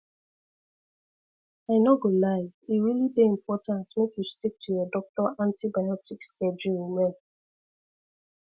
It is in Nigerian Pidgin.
i no go lie e really dey important make you stick to your doctor antibiotic schedule well